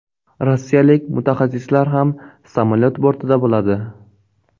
Rossiyalik mutaxassislar ham samolyot bortida bo‘ladi.